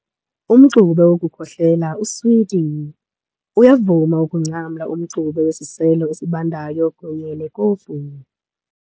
Umxube wokukhohlela uswiti. Uyavuma ukungcamla umxube wesiselo esibandayo kunye nekofu